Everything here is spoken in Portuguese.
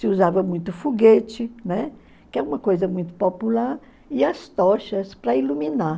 Se usava muito foguete, né, que é uma coisa muito popular, e as tochas para iluminar.